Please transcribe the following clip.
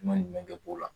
Man ɲi jumɛn kɛ ko la